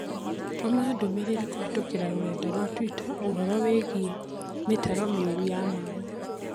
Tũma ndũmĩrĩri kũhĩtũkĩra rũrenda rũa tũita ũhoro wĩgiĩ mĩtaro miũru ya maĩ